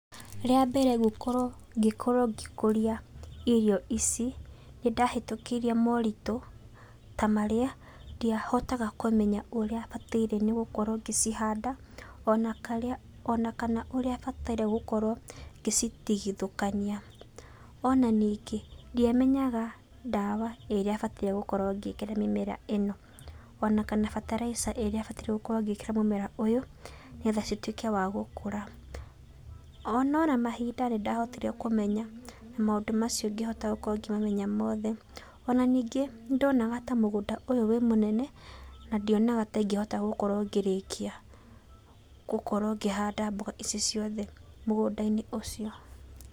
Rĩa mbere gũkorwo ngĩkorwo ngĩkũria irio ici nĩndahĩtũkĩire moritũ ta marĩa, ndiahotaga kũmenya ũrĩa bataire gũkorwo ngĩcianda, ona kana ũrĩa bataire nĩ gũkwo ngĩcitigithũkania. Ona ningĩ, ndiamenaga ndawa ĩrĩa batiĩ gũkorwo ngĩkĩra mĩmera ĩno, ona kana bataraica ĩrĩa bataire gũkorwo ngĩkĩra mũmera ũyũ, nĩgetha cituĩke wa gũkũra. No oro na mahinda nĩndahotire kũmenya na maũndũ macio ngĩhota gũkorwo ngĩmamenya mothe. Ona ningĩ nĩndonaga ta mũgũnda ũyũ ũrĩ mũnene, na ndionaga ta ingĩhota gũkorwo ngĩrĩkia gũkorwo ngĩhanda mboga ici ciothe mũgũda-inĩ ũcio.